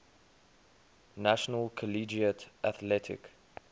national collegiate athletic